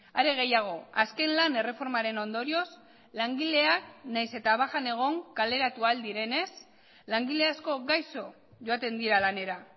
are gehiago azken lan erreformaren ondorioz langileak nahiz eta bajan egon kaleratu ahal direnez langile asko gaixo joaten dira lanera